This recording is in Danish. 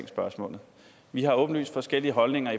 spørgsmålet vi har åbenlyst forskellige holdninger